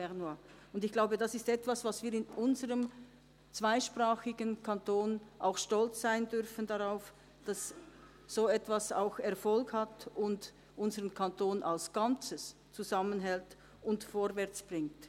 Ich glaube, das ist etwas, auf das wir in unserem zweisprachigen Kanton auch stolz sein dürfen, dass so etwas auch Erfolg hat und unseren Kanton als Ganzes zusammenhält und vorwärtsbringt.